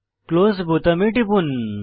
close বোতামে টিপুন